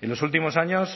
en los últimos años